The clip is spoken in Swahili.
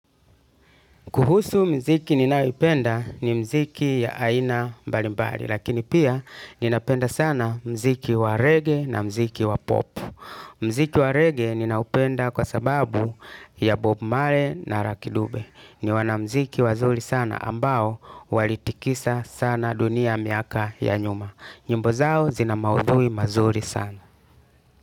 Kuhusu muziki ninayopenda ni muziki ya aina mbalimbali lakini pia ninaupenda sana muziki wa reggae na muziki wa pop. Muziki wa reggae ninaupenda kwa sababu ya Bob Marley na Lucky Dube. Ni wanamuziki wazuri sana ambao walitikisa sana dunia miaka ya nyuma. Nyimbo zao zina maudhui mazuri sana.